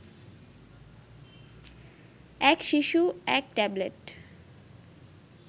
এক শিশু এক ট্যাবলেট